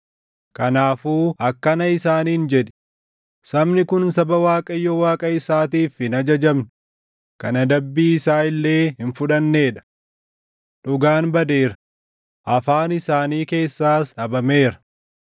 Kanaafuu akkana isaaniin jedhi; ‘Sabni kun saba Waaqayyo Waaqa isaatiif hin ajajamne, kan adabbii isaa illee hin fudhannee dha. Dhugaan badeera; afaan isaanii keessaas dhabameera.